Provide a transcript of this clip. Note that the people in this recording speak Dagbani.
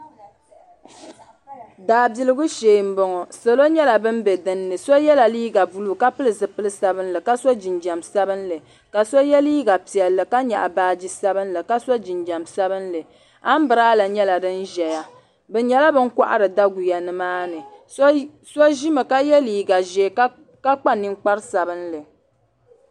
Daabiligu shee m boŋɔ salo nyɛla bin be dinni so yɛla liiga buluu ka pili zipil'sabinli ka so jinjiɛm sabinli ka so ye liiga piɛlli ka nyaɣi baaji sabinli ka so jinjiɛm sabinli ambrada nyɛla din ʒɛya bɛ nyɛla bini kohari daguya nimaani so ʒimi ka ye liiga ʒee ka kpa ninkpari sabinli.